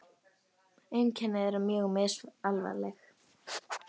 Einkenni eru mjög misalvarleg.